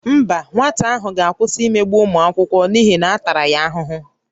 Mba, nwata ahụ ga-akwụsị imegbu ụmụ akwụkwọ n'ihi na a tara ya ahụhụ